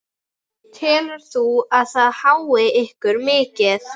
Telur þú að það hái ykkur mikið?